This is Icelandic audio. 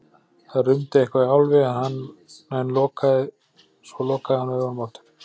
Það rumdi eitthvað í Álfi en svo lokaði hann augunum aftur.